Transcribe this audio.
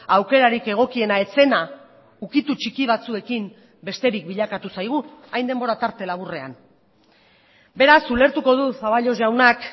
aukerarik egokiena ez zena ukitu txiki batzuekin besterik bilakatu zaigu hain denbora tarte laburrean beraz ulertuko du zaballos jaunak